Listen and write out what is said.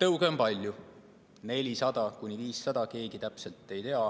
Tõuge on palju, 400–500, keegi täpselt ei tea,